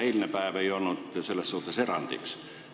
Eilne päev ei olnud selles suhtes erandiks.